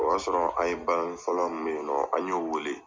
O y'a sɔrɔ an ye balannin fɔla min bɛ yen nɔ an y'o wele.